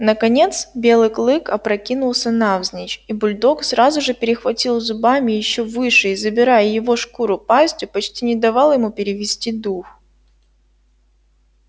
наконец белый клык опрокинулся навзничь и бульдог сразу же перехватил зубами ещё выше и забирая его шкуру пастью почти не давал ему перевести дух